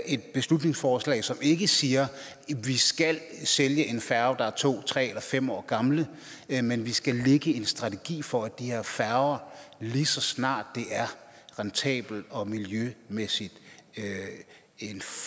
et beslutningsforslag som ikke siger at vi skal sælge en færge der er to tre eller fem år gammel men men at vi skal lægge en strategi for de her færger lige så snart det er rentabelt og miljømæssigt